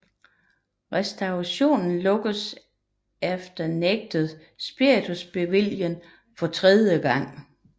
Restaurationen lukkedes efter nægtet spiritusbevilling for tredje gang